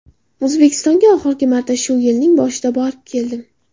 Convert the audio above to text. O‘zbekistonga oxirgi marta shu yilning boshida borib keldim.